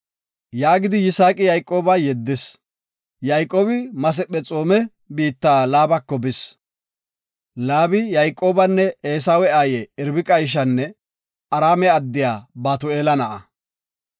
Yaagidi Yisaaqi Yayqooba yeddis. Yayqoobi Masephexoome biitta Laabako bis. Laabi Yayqoobanne Eesawe aaye Irbiqa ishanne Araame addiya Batu7eela na7a.